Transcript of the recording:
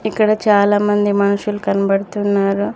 ఇక్కడ చాలా మంది మనుషులు కనబడుతున్నారు.